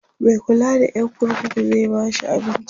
Mai kulla da Yan kurkuku zai bashi abinci?